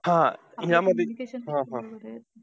हा! यामध्ये हा हा.